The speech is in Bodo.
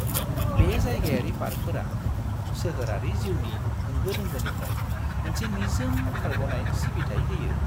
बे जायगायारि पार्कफोरा सोहोरारि जिउनि होंगो-दोंगोनिफ्राय मोनसे निजोम खारग'नाय सिबिथाइ होयो।